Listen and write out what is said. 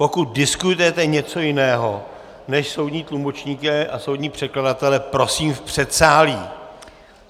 Pokud diskutujete něco jiného než soudní tlumočníky a soudní překladatele, prosím v předsálí!